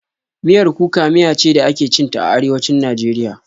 Miyar kuka miya ce da ake cin ta a Arewacin Najeriya.